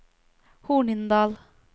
Hornindal